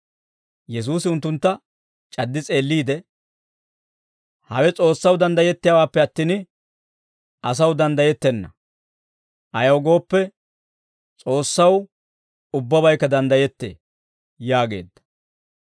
Yesuusi unttuntta c'addi s'eelliide, «Hawe S'oossaw danddayettiyaawaappe attin, asaw danddayettenna; ayaw gooppe, S'oossaw ubbabaykka danddayettee» yaageedda.